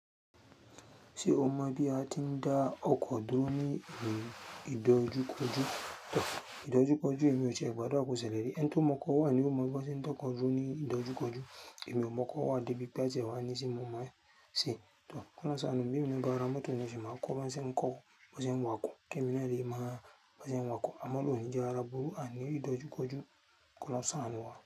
Ṣé o mọ bí a ti ń da ọkọ̀ dọ ni ohun ìdojúkọjú? Ìdojúkọjú èmi ò ṣe gbọ́dọ̀ kọsẹ lẹri. En tun mọkọ wa ni o mọ bí wọn ṣe ń da ọkọ ju ni ìdojúkọjú. Èmi ò mọkọ wa débi pé atẹ wa ni ṣe mọ ma ṣe. Kọla sanu bí mo ń gba ara mọ́tò ni ṣe ma kọ baṣe ń kọ, baṣe ń wakọ̀, kí ẹmi lẹ ríi ma baṣe ń wakọ̀. A má lo ni jẹ ara burú ani ìdojúkọjú. Kí ọlọ́run ṣánú wa.